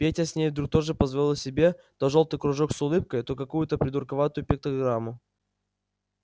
петя с ней вдруг тоже позволял себе то жёлтый кружок с улыбкой то какую-то придурковатую пиктограмму